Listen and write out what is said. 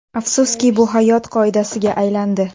Afsuski, bu hayot qoidasiga aylandi.